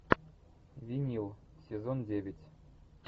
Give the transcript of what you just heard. винил сезон девять